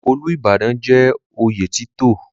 Olúbàdàn jẹ́ oyè títò.